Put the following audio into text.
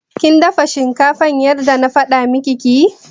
Kin dafa shinkafar yadda na faɗa miki ki yi?